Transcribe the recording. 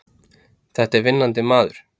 Þetta er vinnandi maður!